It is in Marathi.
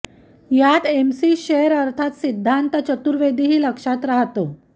यात एमसी शेर अर्थात सिद्धांत चतुर्वेदीही लक्षात राहतो